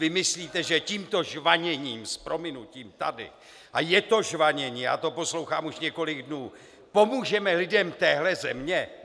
Vy myslíte, že tímto žvaněním - s prominutím - tady, a je to žvanění, já to poslouchám už několik dnů, pomůžeme lidem téhle země?